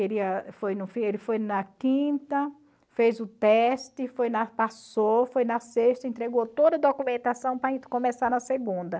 Ele foi na quinta, fez o teste, foi na passou, foi na sexta, entregou toda a documentação para começar na segunda.